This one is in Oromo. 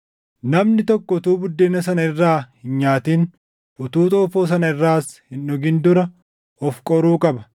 Namni tokko utuu buddeena sana irraa hin nyaatin, utuu xoofoo sana irraas hin dhugin dura of qoruu qaba.